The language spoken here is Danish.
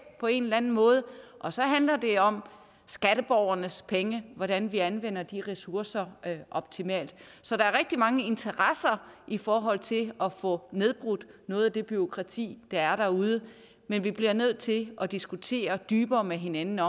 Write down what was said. på en eller anden måde og så handler det om skatteborgernes penge hvordan vi anvender ressourcerne optimalt så der er rigtig mange interesser i forhold til at få nedbrudt noget af det bureaukrati der er derude men vi bliver nødt til at diskutere dybere med hinanden